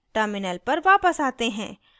terminal पर वापस आते हैं